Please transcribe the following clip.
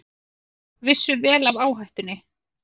Vissu vel af áhættunni